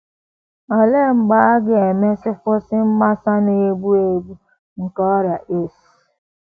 Olee mgbe a ga - emesị kwụsị mgbasa na - egbu egbu nke ọrịa AIDS?